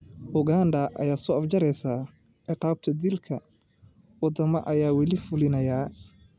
Uganda oo soo afjaraysa ciqaabta dilka: Wadamadee ayaa wali fulinaya?